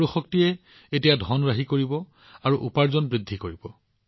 সূৰ্যৰ শক্তিয়ে এতিয়া ধন ৰাহি কৰিব আৰু উপাৰ্জন বৃদ্ধি কৰিব